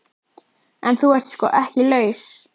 En þú ert sko ekki laus.